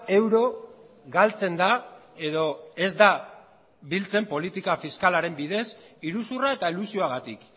euro galtzen da edo ez da biltzen politika fiskalaren bidez iruzurra eta elusioagatik